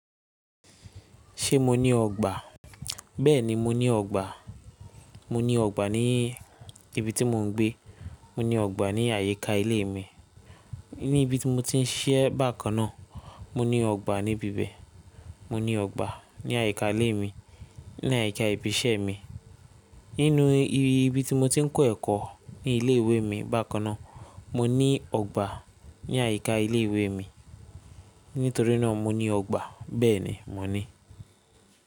Ṣé mo ní ọgbà? Bẹ́ẹ̀ni, mo ní ọgbà. Mo ní ọgbà ní ibi tí mò ń gbé. Mo ní ọgbà ní àyíká ilé mi. Ní ibi tí mo ti ń ṣíṣẹ́ bákan náà, mo ní ọgbà níbibẹ̀. Mo ní ọgbà ní àyíká ilé mi, ní àyíká ibi iṣẹ́ mi. Nínú ibi tí mo ti ń kọ́ ẹ̀kọ́ ní ilé ìwé mi bákan náà. Mo ní ọgbà ní àyíká ilé ìwé mi. Nítorí náà mo ní ọgbà. Bẹ́ẹ̀ni, mo ní.